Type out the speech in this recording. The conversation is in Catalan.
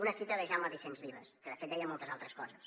una citació de jaume vicens vives que de fet deia moltes altres coses